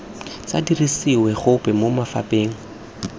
sa dirisiwe gope mo mafapheng